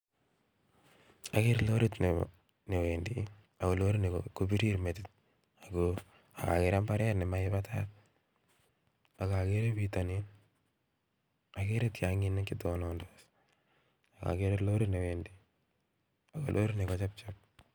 Okere lorit ne newendi ogo lorini kobirir metit, ak okere mbaret nemi batai, ok okere pitonin, okere tionginik chetonondos, okere lorit newendi. Lorini kochepchep.